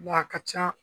Nka a ka ca